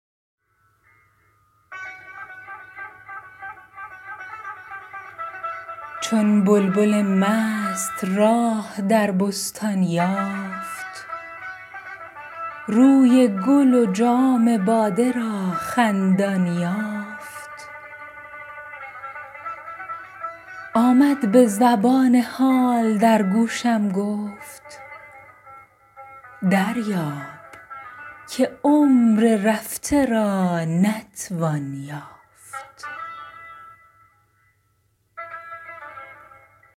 چون بلبل مست راه در بستان یافت روی گل و جام باده را خندان یافت آمد به زبان حال در گوشم گفت دریاب که عمر رفته را نتوان یافت